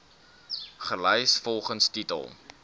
gelys volgens titel